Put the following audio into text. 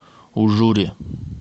ужуре